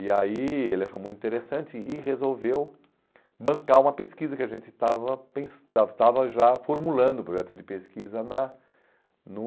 E aí ele achou muito interessante e resolveu bancar uma pesquisa que a gente estava pen estava estava já formulando, o projeto de pesquisa na no